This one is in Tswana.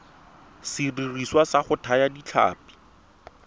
sediriswa sa go thaya ditlhapi